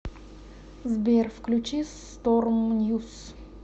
сбер включи сторм ньюс